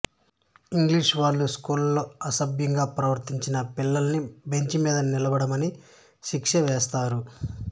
ఇంగ్లీషువాళ్ళు స్కూల్లో అసభ్యంగా ప్రవర్తించిన పిల్లల్ని బెంచిమీద నిలబడమని శిక్ష వేస్తారు